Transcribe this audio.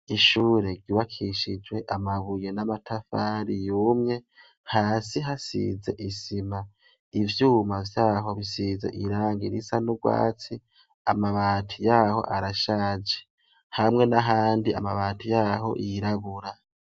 Ishure ryubakishijwe amabuye n'amatafari yumye hasi hasize isima ivyuma vyaho bisize irangi risa nurwatsi amabati yaho arashaje hamwe n' ahandi amabati yaho yirabura.